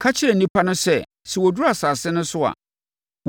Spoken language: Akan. “Ka kyerɛ nnipa no sɛ, sɛ wɔduru asase no so a,